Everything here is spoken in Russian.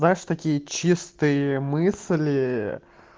знаешь такие чистые мысли